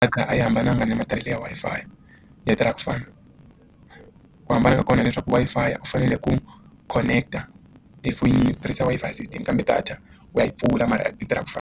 A kha a yi hambananga na matirhelo ya Wi-Fi data ra ku fana ku hambana ka kona leswaku Wi-Fi u fanele ku connect a efoyinini ku tirhisa Wi-Fi system kambe data u ya yi pfula mara a data ra ku fana.